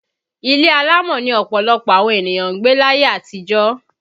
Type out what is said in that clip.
Ilé alámọ̀ ni ọ̀pọ̀lọpọ̀ àwọn ènìyàn gbé láyé àtijó